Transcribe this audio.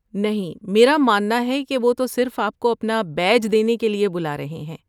نہیں، میرا ماننا ہے کہ وہ تو صرف آپ کو اپنا بیج دینے کے لیے بلا رہے ہیں۔